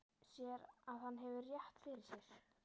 Sér að hann hefur rétt fyrir sér.